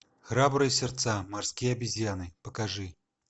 храбрые сердца морские обезьяны покажи